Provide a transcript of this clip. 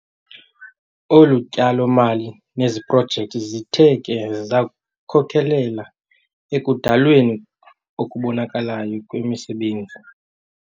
Olu tyalo-mali neziprojekthi zithe ke zakhokelela ekudalweni okubonakalayo kwemisebenzi.